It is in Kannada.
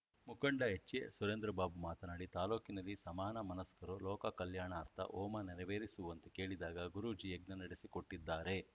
ಮುಖಂಡ ಎಚ್‌ಎಸುರೇಂದ್ರಬಾಬು ಮಾತನಾಡಿ ತಾಲೂಕಿನಲ್ಲಿ ಸಮಾನ ಮನಸ್ಕರು ಲೋಕಕಲ್ಯಾಣಾರ್ಥ ಹೋಮ ನೆರವೇರಿಸುವಂತೆ ಕೇಳಿದಾಗ ಗುರೂಜಿ ಯಜ್ಞ ನಡೆಸಿಕೊಟ್ಟಿದ್ದಾರೆ